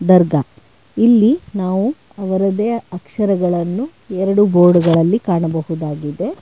ದರ್ಗಾ ಇಲ್ಲಿ ನಾವು ಅವರದೇ ಅಕ್ಷರಗಳನ್ನು ಎರಡು ಬೋರ್ಡ್ ಗಳಲ್ಲಿ ಕಾಣಬಹುದಾಗಿದೆ.